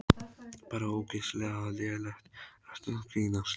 Bara ógeðslega lélegt, ertu að grínast?